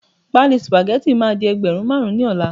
pálí spaghetti ma di ẹgbẹrun marun ni ola